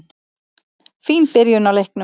Fín byrjun á leiknum.